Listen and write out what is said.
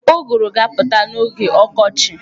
Ụgụrụ ga-apụta n'oge ọkọchi.